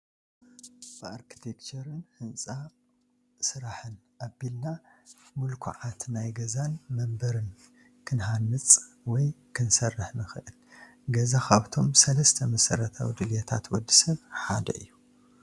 ብኣርክቴክቸርን ህንፃ ስራሕን ኣቢልና ሙልኩዓት ናይ ገዛን መንበርን ክንሃንፅ ወይ ክንሰርሕ ንኽእል፡፡ ገዛ ካብቶም 3 መሰረታዊ ድልየታት ወዲ ሰብ ሓደ እዩ፡፡